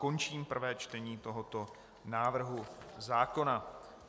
Končím prvé čtení tohoto návrhu zákona.